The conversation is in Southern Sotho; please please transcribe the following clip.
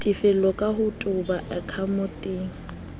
tefello ka ho toba akhaonteng